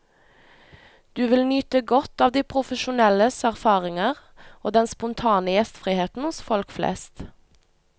Du vil nyte godt av de profesjonelles erfaringer, og den spontane gjestriheten hos folk flest.